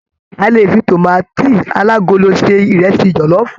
A lè fì tomaati alagolo se ìrẹsì jọlọfu.